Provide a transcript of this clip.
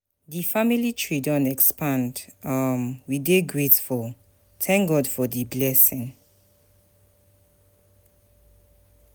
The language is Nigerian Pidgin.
Di family tree don expand, um we dey grateful, thank God for di blessing.